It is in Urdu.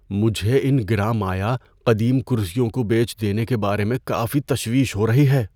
مجھے ان گراں مایہ قدیم کرسیوں کو بیچ دینے کے بارے میں کافی تشویش ہو رہی ہے۔